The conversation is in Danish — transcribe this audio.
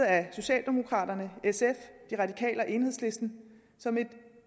af socialdemokraterne sf de radikale og enhedslisten som et